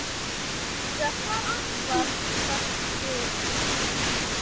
Fjórum dögum síðar kvaddi hann.